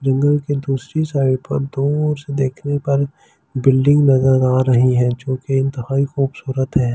जंगल की दूसरी साइड पर दूर से देखने पर बिल्डिंग नजर आ रही है जो बेइंतहाई खूबसूरत है।